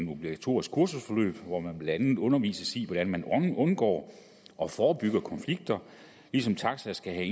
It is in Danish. obligatorisk kursusforløb hvor man blandt andet undervises i hvordan man undgår og forebygger konflikter ligesom en taxa skal have